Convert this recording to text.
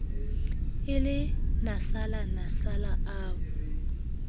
e le nasala nasala o